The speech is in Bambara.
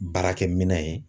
Baarakɛminɛn ye